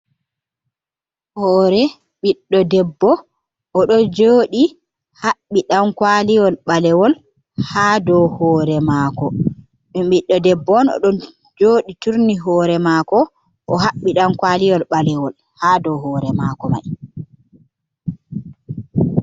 Hore ɓiɗɗo debbo o ɗon jodi haɓɓi ɗankwaliwol ɓalewol ha do hore mako m ɓiɗɗo debbo on oɗon joɗi turni hore mako o haɓɓi ɗankwaliwol ɓalewol ha do hore mako mai.